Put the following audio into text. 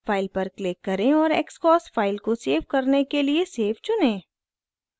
file पर click करें और xcos फाइल को सेव करने के लिए save चुनें